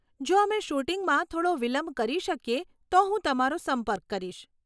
જો અમે શૂટિંગમાં થોડો વિલંબ કરી શકીએ તો હું તમારો સંપર્ક કરીશ.